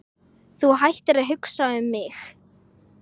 Þú hættir að hugsa um mig.